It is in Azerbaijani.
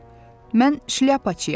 Mən Şlyapaçıyam.